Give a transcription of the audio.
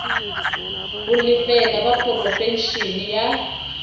ho lefela ba porofeshene ya